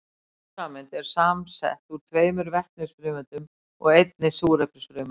Vatnssameind eru samsett úr tveimur vetnisfrumeindum og einni súrefnisfrumeind.